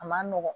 A man nɔgɔn